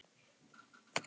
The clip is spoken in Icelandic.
á neinni árstíð.